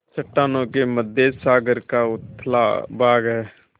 चट्टानों के मध्य सागर का उथला भाग है